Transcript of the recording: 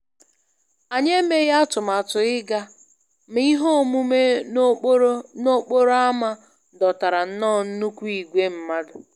Anyị emeghị atụmatụ ịga, ma ihe omume n'okporo n'okporo ámá dọtara nnọọ nnukwu ìgwè mmadụ